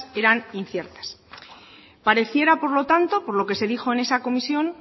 eran inciertas pareciera por lo tanto por lo que se dijo en esa comisión